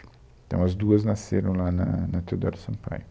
Então, as duas nasceram lá na na Teodoro Sampaio.